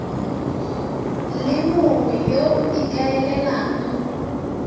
le mongwe yo o ikaelelang